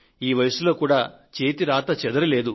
ఈ వయసులో కూడా చేతి రాత చెదరనేలేదు